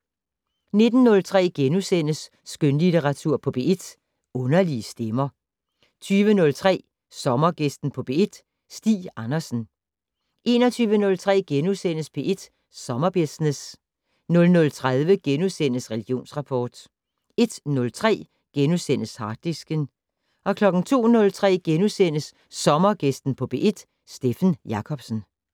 19:03: Skønlitteratur på P1: Underlige stemmer * 20:03: Sommergæsten på P1: Stig Andersen 21:03: P1 Sommerbusiness * 00:30: Religionsrapport * 01:03: Harddisken * 02:03: Sommergæsten på P1: Steffen Jacobsen *